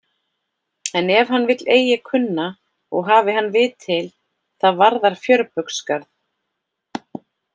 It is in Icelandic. En ef hann vill eigi kunna og hafi hann vit til, það varðar fjörbaugsgarð.